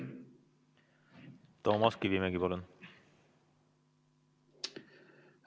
Toomas Kivimägi, palun!